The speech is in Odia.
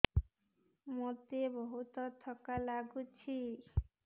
ମୋତେ ବହୁତ୍ ଥକା ଲାଗୁଛି